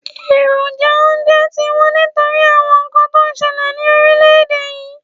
Èròjà oúnje ti wón nítorí àwon nkan to n selè ni orílé èdè yi